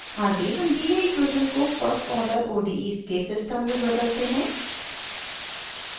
आगे हम दी गयी इक्वेशन को फर्स्ट आर्डर odes के सिस्टम में बदलते हैं